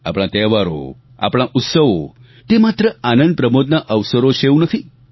આપણા તહેવારો આપણા ઉત્સવો તે માત્ર આનંદપ્રમોદના અવસરો છે એવું નથી